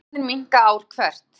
Jöklarnir minnka ár hvert